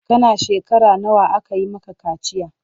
Kana shekara nawa aka yi maka kaciya?